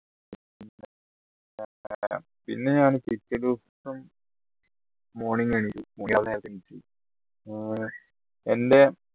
പിന്നെ ഞാൻ പിറ്റേദിവസം morning ഏർ എൻറെ